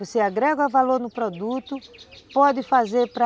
Você agrega valor no produto, pode fazer para